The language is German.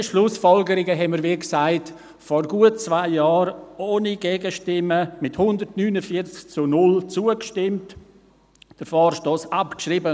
Diesen Schlussfolgerungen stimmten wir – wie gesagt – vor gut zwei Jahren ohne Gegenstimmen mit 149 zu 0 Stimmen zu und schrieben den Vorstoss ab.